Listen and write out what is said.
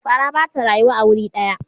Fara ba ta rayuwa a wuri daya